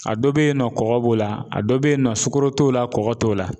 A dɔ bɛ yen nɔ kɔkɔ b'o la, a dɔ be yen nɔ sukaro t'o la kɔkɔ t'o la